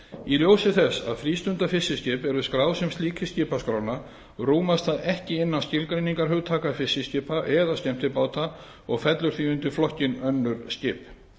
í ljósi þess að frístundafiskiskip eru skráð sem slík í skipaskrána rúmast það ekki innan skilgreiningarhugtaka fiskiskipa eða skemmtibáta og fellur því undir flokkinn önnur skip